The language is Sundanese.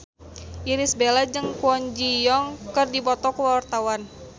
Irish Bella jeung Kwon Ji Yong keur dipoto ku wartawan